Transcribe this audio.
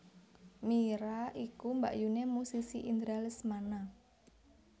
Mira iku mbakyuné musisi Indra Lesmana